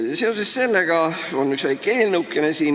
Seoses sellega on meil siin üks väike eelnõu.